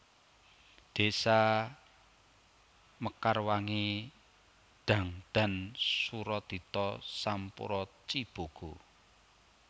Désa Mekarwangi Dangdan Suradita Sampora Cibogo